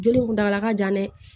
Joginda ka jan dɛ